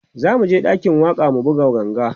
zamuje ɗakin waƙa mu buga ganga